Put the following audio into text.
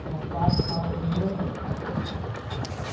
Tinha quarto, sala, cozinha e banheiro.